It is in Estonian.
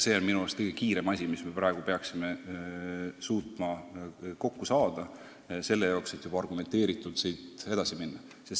See on minu arust kõige kiirem töö, mis me peaksime suutma ära teha, et juba argumenteeritult edasi minna.